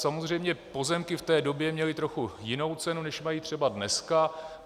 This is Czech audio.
Samozřejmě pozemky v té době měly trochu jinou cenu, než mají třeba dneska.